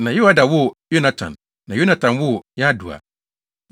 na Yoiada woo Yonatan, na Yonatan woo Yadua.